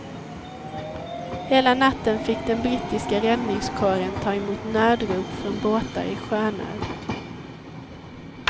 Hela natten fick den brittiska räddningskåren ta emot nödrop från båtar i sjönöd.